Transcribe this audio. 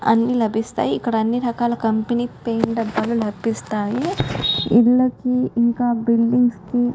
అన్ని లభిస్తాయి ఇక్కడ అన్ని రకాల కంపెనీల పెయింట్ డబ్బాలు లభిస్తాయి. ఇళ్ళకి ఇంకా బిల్డింగ్స్ కి --